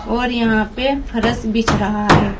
और यहां पे फरश बीछ रहा है।